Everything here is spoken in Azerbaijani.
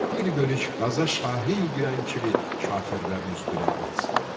Bir bölük qaza şahin girən kimi kafirlərin üstünə at saldı.